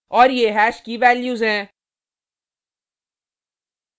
और ये हैश की वैल्यूज हैं